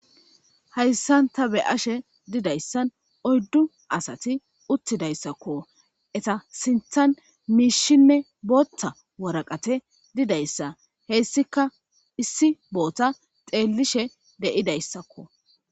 hayssan ta be'ashe didayssan oyddu asati uttidayssakko eta sinthan miishinne bootta woraqate didayssa heyssika issi bootta xeellishe de'idayssakko